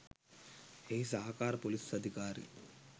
එහි සහකාර ‍පොලිස් අධිකාරි